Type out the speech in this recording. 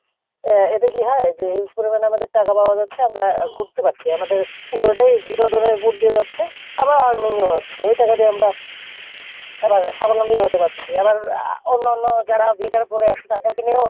এ এতে কী হয় যে huge পরিমাণে আমাদের টাকা পাওয়া যাচ্ছে আমরা ঘুরতে পারছি আমাদের পুরোটাই বিনোদনের মধ্যে যাচ্ছে আবার earning ও হচ্ছে ওই টাকা দিয়ে আমরা সাবলম্বী হতে পারছি আবার আহ অন্য অন্য যারা বেকার পরে আছে তাদেরকে নিয়েও,